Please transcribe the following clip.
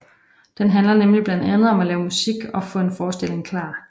Den handler nemlig blandt andet om at lave musik og få en forestilling klar